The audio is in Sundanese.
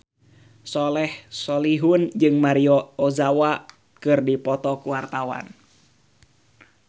Soleh Solihun jeung Maria Ozawa keur dipoto ku wartawan